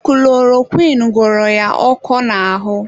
Kulorokwịn ghọrọ ya ọkọ n'ahụ.